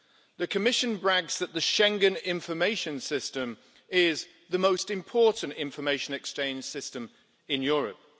The Commission brags that the Schengen Information System is the most important information exchange system in Europe.